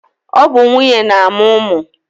ọ bụ nwunye na-amụ ụmụ